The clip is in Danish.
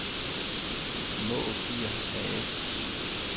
Maag Gear A/S